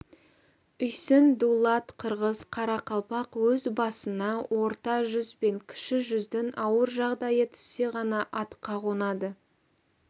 үйсін дулат қырғыз қарақалпақ өз басына орта жүз бен кіші жүздің ауыр жағдайы түссе ғана атқа қонады